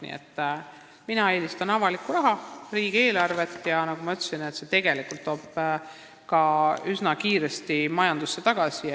Nii et mina eelistan avalikku raha – riigieelarvet, sest nagu ma ütlesin, toob see üsna kiiresti majandusse tulu tagasi.